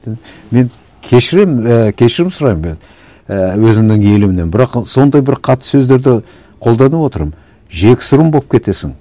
мен кешіремін і кешірім сұраймын мен і өзімнің елімнен бірақ сондай бір қатты сөздерді қолданып отырмын жексұрын болып кетесің